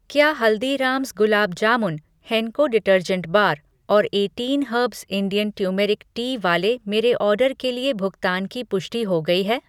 क्या Haldiram's gulab jamun, Henko detergent bar और eighteen herbs Indian turmeric tea वाले मेरे ऑर्डर के लिए भुगतान की पुष्टि हो गई है?